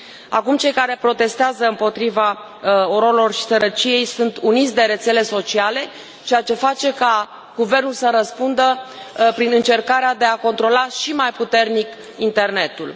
Acum, cei care protestează împotriva ororilor și sărăciei sunt uniți de rețele sociale, ceea ce face ca guvernul să răspundă prin încercarea de a controla și mai puternic internetul.